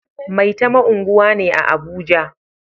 Maitama unguwa ne a Abuja